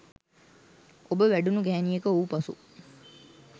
ඔබ වැඩුණු ගැහැණියක වූ පසු